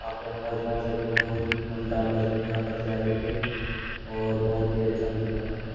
आप यहाँ पर जा सकते हैं। बहुत ही कम दाम लगते हैं यहाँ पर जाने के और बहुत ही अच्छा लुक आता है।